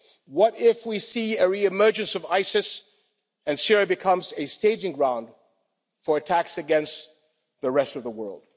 What if we see a re emergence of ISIS and Syria becomes a staging ground for attacks against the rest of the world?